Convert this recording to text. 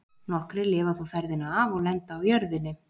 Nokkrir lifa þó ferðina af og lenda á jörðinni.